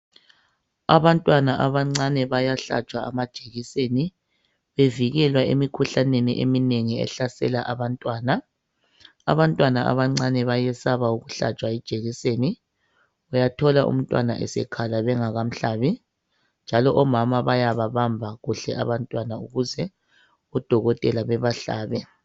Abantwana abancane bayahlatshwa amajekiseni bevikelwa emikhuhlaneni eminengi ehlasela abantwana, abantwana abancane bayesaba ukuhlatshwa ijekiseni uyathola umntwana esekhala bengakamhlabi njalo omama bayababamba kuhle abantwana ukuze odokotela babahlabe.